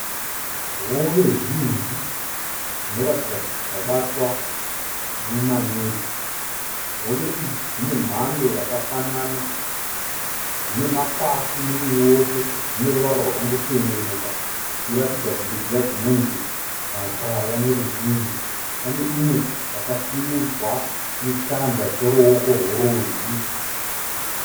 Hove zhinji dzinoratidza kuti dzabatwa nemaneti. Hove idzi dzine mhando yakafanana, dzine Makwati muviri wose dzine ruvara rwakangochenuruka dzichiratidza kunge dziya dzinonzi makwaya neweruzhinji kune imwe yakasimudzwa nechanza cheruoko